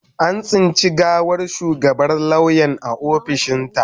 An tsinci gawar shugabar lauyan a ofishinta.